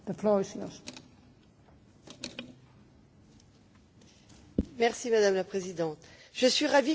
Madame la Présidente, je suis ravie que soient mentionnées les grandes différences de situations auxquelles font face les États membres.